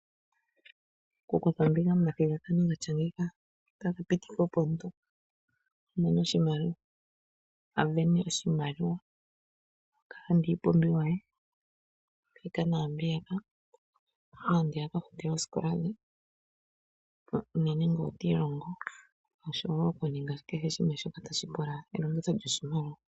Oku kutha ombinga mo mathigathano gatya ngeyika, ota ku pitika opo omuntu avene oshimaliwa aka lande iipumbimbiwa mbika naambiya ka ye akafute oosikola dhe unene ngele otiilongo, osho woo okuninga kehe shimwe shoka tashi pla elongitho lyoshimalwa.